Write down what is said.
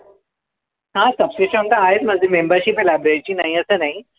हां subscription तर आहेच माझं. Membership आहे library ची, नाही असं नाही.